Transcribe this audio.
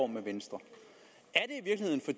med venstre er